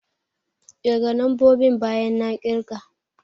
Ƙirga lambobin bayan na ƙirga!